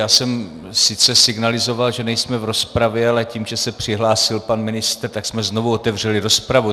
Já jsem sice signalizoval, že nejsme v rozpravě, ale tím, že se přihlásil pan ministr, tak jsme znovu otevřeli rozpravu.